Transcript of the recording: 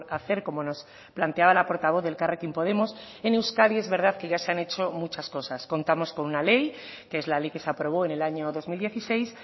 hacer como nos planteaba la portavoz de elkarrekin podemos en euskadi es verdad que ya se han hecho muchas cosas contamos con una ley que es la ley que se aprobó en el año dos mil dieciséis